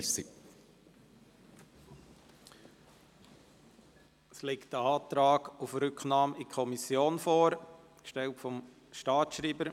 Es liegt ein Antrag auf Rücknahme an die Kommission vor, gestellt vom Staatsschreiber.